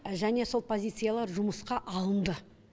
және сол позициялар жұмысқа алынды